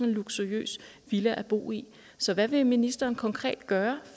en luksuriøs villa at bo i så hvad vil ministeren konkret gøre